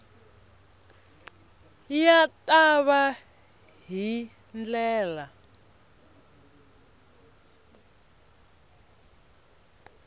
ya ta va hi ndlela